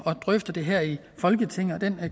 at drøfte det her i folketinget og den